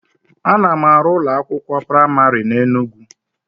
Ana m arụ ụlọ akwụkwọ praimarị na Enugwu